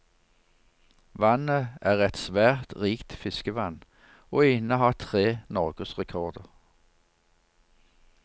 Vannet er et svært rikt fiskevann, og innehar tre norgesrekorder.